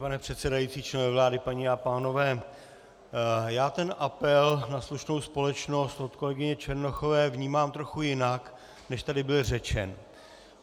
Pane předsedající, členové vlády, paní a pánové, já ten apel na slušnou společnost od kolegyně Černochové vnímám trochu jinak, než tady byl řečen.